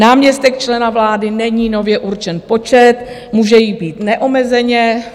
Náměstek člena vlády - není nově určen počet, může jich být neomezeně.